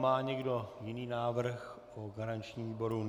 Má někdo jiný návrh po garančním výboru?